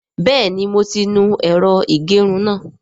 Bẹ́ẹ̀ni mo ti nu ẹ̀rọ ìgẹrun náà